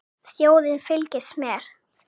Þjóðin fylgist með.